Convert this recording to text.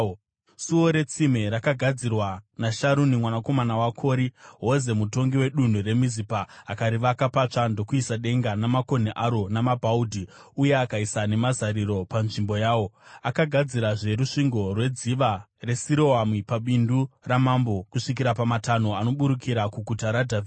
Suo reTsime rakagadzirwa naSharuni mwanakomana waKori-Hoze, mutongi wedunhu reMizipa. Akarivaka patsva ndokuisa denga namakonhi aro namabhaudhi uye akaisa nemazariro panzvimbo yawo. Akagadzirazve rusvingo rweDziva reSiroami, paBindu raMambo kusvikira pamatanho anoburukira kuGuta raDhavhidhi.